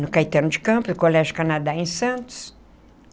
No Caetano de Campos, no Colégio Canadá em Santos.